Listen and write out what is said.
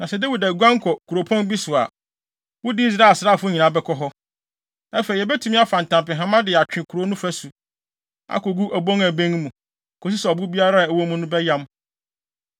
Na sɛ Dawid aguan kɔ kuropɔn bi so a, wode Israel asraafo nyinaa bɛkɔ hɔ. Afei, yebetumi afa ntampehama de atwe kurow no afasu, akogu obon a ɛbɛn mu, kosi sɛ ɔbo biara a ɛwɔ mu no bɛyam.”